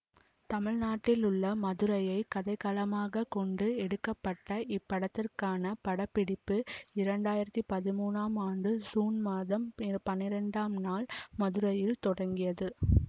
தமிழ்நாட்டிலுள்ள மதுரையை கதைக்களமாகக் கொண்டு எடுக்க பட்ட இப்படத்திற்கான படப்படிப்பு இரண்டாயிரத்தி பதிமூனாம் ஆண்டு சூன் மாதம் பனிரெண்டாம் நாள் மதுரையில் தொடங்கியது